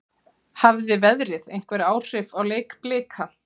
Hafði veðrið einhver áhrif á leik Blika?